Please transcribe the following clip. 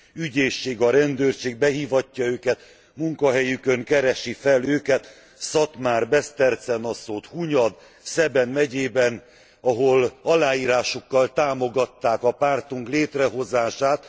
Az ügyészség, a rendőrség behívatja őket, munkahelyükön keresik fel őket Szatmár, Beszterce Naszód, Hunyad, Szeben megyében, ahol aláírásukkal támogatták a pártunk létrehozását.